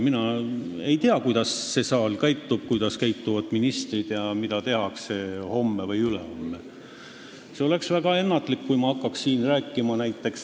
Mina ei tea, kuidas see saal käitub, kuidas käituvad ministrid ja mida tehakse homme või ülehomme.